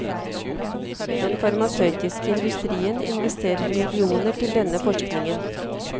Den farmasøytiske industrien investerer millioner til denne forskninga.